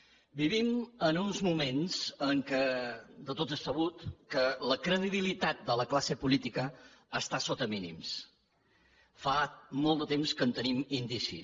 vivim en uns moments en què de tots és sabut que la cre dibilitat de la classe política està sota mínims fa molt de temps que en tenim indicis